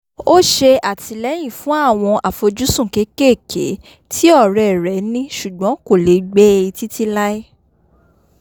ó ṣè àtìlẹ́yìn fún àwọn àfojúsùn kékéèké tí ọ̀rẹ́ rẹ̀ ní ṣùgbọ́n kò lè gbé e títí láí